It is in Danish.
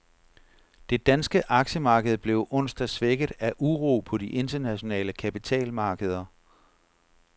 Det danske aktiemarked blev onsdag svækket af uro på de internationale kapitalmarkeder.